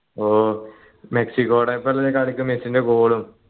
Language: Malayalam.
ഹും മെക്സിക്കോടൊപ്പം കളിക്ക് മെസ്സിന്റെ goal ഉം